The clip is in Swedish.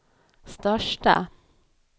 största